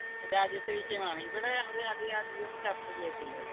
രാജ്യത്തെ വിഷയമാണ് ഇവിടെ അത് അധികം അധികം ചർച്ച ചെയ്യത്തില്ല